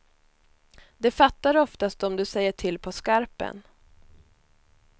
De fattar oftast om du säger till på skarpen.